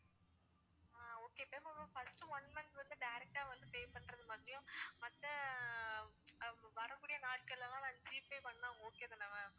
ஆஹ் okay ma'am இப்போ first one month வந்து direct ah வந்து pay பண்ணுற மாதிரியும் மத்த ஆஹ் வரக்கூடிய நாட்கள்ல நான் ஜி பே பண்ணா okay தானே ma'am